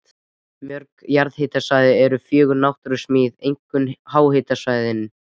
Mörg jarðhitasvæði eru fögur náttúrusmíð, einkum háhitasvæðin.